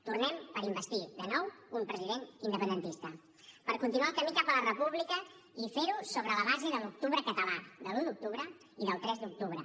tornem per a investir de nou un president independentista per a continuar el camí cap a la república i fer ho sobre la base de l’octubre català de l’un d’octubre i del tres d’octubre